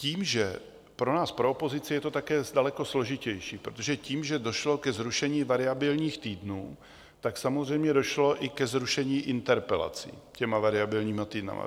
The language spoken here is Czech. Tím, že pro nás, pro opozici, je to také daleko složitější, protože tím, že došlo ke zrušení variabilních týdnů, tak samozřejmě došlo i ke zrušení interpelací těmi variabilními týdny.